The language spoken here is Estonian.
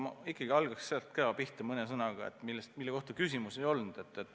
Ma hakkaks pihta mõne sõnaga teemal, mille kohta küsimust ei olnud.